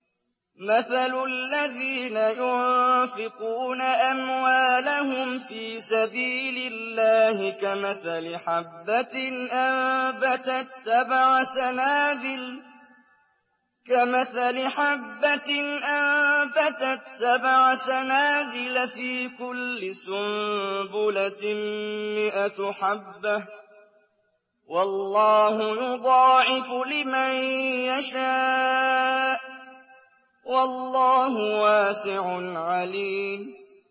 مَّثَلُ الَّذِينَ يُنفِقُونَ أَمْوَالَهُمْ فِي سَبِيلِ اللَّهِ كَمَثَلِ حَبَّةٍ أَنبَتَتْ سَبْعَ سَنَابِلَ فِي كُلِّ سُنبُلَةٍ مِّائَةُ حَبَّةٍ ۗ وَاللَّهُ يُضَاعِفُ لِمَن يَشَاءُ ۗ وَاللَّهُ وَاسِعٌ عَلِيمٌ